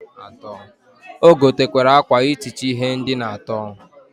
O gotekwere akwa itichi ihe ndina ato.